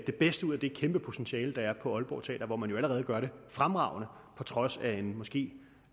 det bedste ud af det kæmpe potentiale der er på aalborg teater hvor man allerede gør det fremragende på trods af en måske